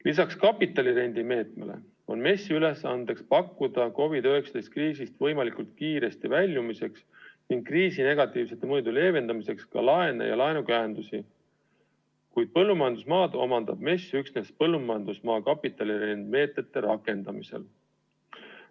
Lisaks kapitalirendi meetmele on MES-i ülesandeks pakkuda COVID-19 kriisist võimalikult kiiresti väljumiseks ning kriisi negatiivsete mõjude leevendamiseks ka laene ja laenukäendusi, kuid põllumajandusmaad omandab MES üksnes põllumajandusmaa kapitalirendi meetme rakendamisel.